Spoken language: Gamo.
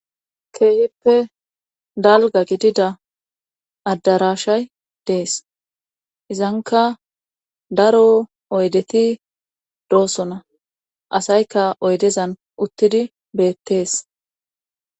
Keehippe dalga gidida addarashay dees izanka daro oydeti doosona asayka oydezan uttidi beettees.